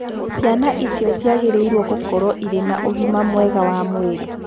Ciana icio ciagĩrĩirũo gũkorũo irĩ na ũgima mwega wa mwĩrĩ.